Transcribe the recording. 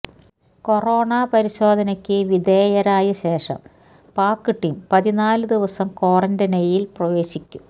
corona പരിശോധനയ്്്ക്ക് വിധേയരായശേഷം Pak team പതിനാല് ദിവസം ക്വാറന്റൈനില് പ്രവേശിക്കും